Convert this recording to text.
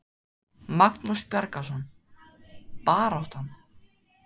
Magnús Bjargarson: Baráttan?